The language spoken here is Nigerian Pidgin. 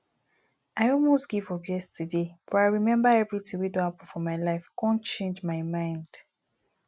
i almost give up yesterday but i remember everything wey don happen for my life come change my mind